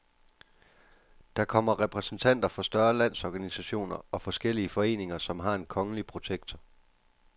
Der kommer repræsentanter for større landsorganisationer og forskellige foreninger, som har en kongelige protektor.